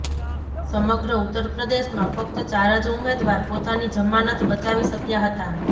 સમગ્ર ઉત્તર પ્રદેશમાં ફક્ત ચાર જ ઉમેદવાર પોતાની જમાનત બચાવી શક્યા હતા